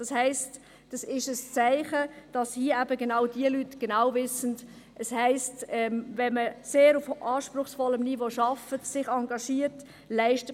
Das ist ein Zeichen dafür, dass diese Leute genau wissen, was es bedeutet, wenn man auf sehr anspruchsvollem Niveau arbeitet, sich engagiert und viel leistet.